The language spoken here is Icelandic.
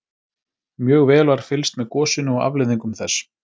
Mjög vel var fylgst með gosinu og afleiðingum þess.